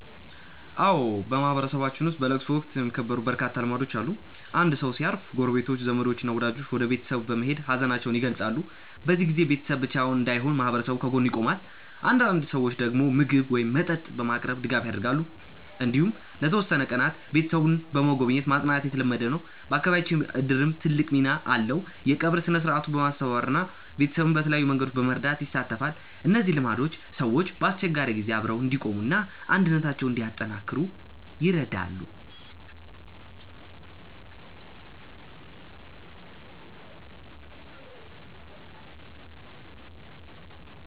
አዎ፣ በማህበረሰባችን ውስጥ በለቅሶ ወቅት የሚከበሩ በርካታ ልማዶች አሉ። አንድ ሰው ሲያርፍ ጎረቤቶች፣ ዘመዶች እና ወዳጆች ወደ ቤተሰቡ በመሄድ ሀዘናቸውን ይገልጻሉ። በዚህ ጊዜ ቤተሰቡ ብቻውን እንዳይሆን ማህበረሰቡ ከጎኑ ይቆማል። አንዳንድ ሰዎች ምግብ ወይም መጠጥ በማቅረብ ድጋፍ ያደርጋሉ። እንዲሁም ለተወሰኑ ቀናት ቤተሰቡን በመጎብኘት ማጽናናት የተለመደ ነው። በአካባቢያችን እድርም ትልቅ ሚና አለው፤ የቀብር ሥነ-ሥርዓቱን በማስተባበር እና ቤተሰቡን በተለያዩ መንገዶች በመርዳት ይሳተፋል። እነዚህ ልማዶች ሰዎች በአስቸጋሪ ጊዜ አብረው እንዲቆሙ እና አንድነታቸውን እንዲያጠናክሩ ይረዳሉ።